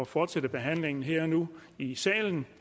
fortsætte behandlingen her og nu i salen